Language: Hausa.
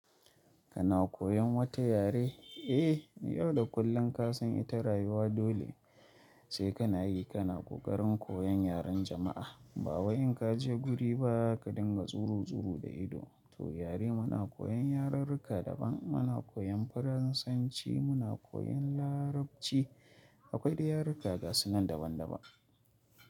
Kana koyan wata yare? Eh, yau da kullum ka san ita rayuwa dole sai ka na yi. Ka na ƙoƙarin koyan yaren jama'a. Ba wa in ka je guri ba ka dinga tsoro tsoro da ido. To yare muna koyan, yaren ruƙa daban muna koyan Faransanci, muna koyan Larabci. Akwai yaruka gasunan daban daban.